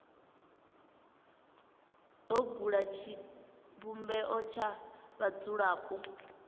do bula tshivhumbeo tsha vhadzulapo